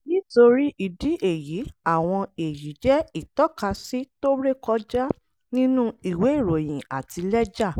nítorí ìdí èyí àwọn èyí jẹ́ ìtọ́kasí tó rékọjá nínú ìwé ìròyìn àti lẹ́jà.